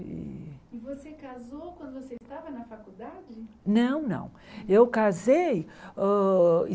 E você casou quando você estava na faculdade? Não não eu casei hã